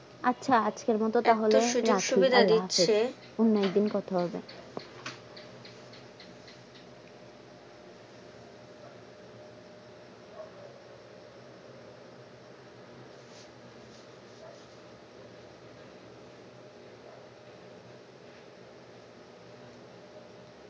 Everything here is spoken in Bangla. আচ্ছা আজকের মত তাহলে রাখছি আল্লাহ হাফেজ, অন্য একদিন কথা হবে